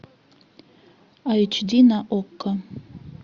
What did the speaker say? айч ди на окко